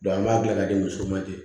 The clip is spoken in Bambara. an b'a dilan ka di muso ma ten